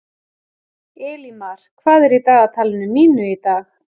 Elímar, hvað er í dagatalinu mínu í dag?